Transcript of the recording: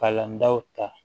Kalan daw ta